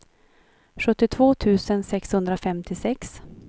sjuttiotvå tusen sexhundrafemtiosex